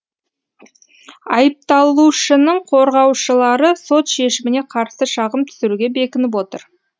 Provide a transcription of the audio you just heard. айыпталушының қорғаушылары сот шешіміне қарсы шағым түсіруге бекініп отыр